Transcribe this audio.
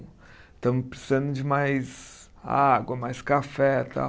Estamos precisando de mais água, mais café tal.